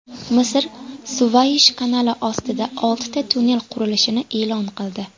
Misr Suvaysh kanali ostida oltita tunnel qurilishini e’lon qildi.